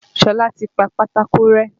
Ṣọlá ti pa pátákó rẹ́.